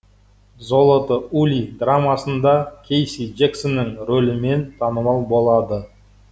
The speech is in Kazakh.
золото ули драмасында кейси джексонның рөлімен танымал болады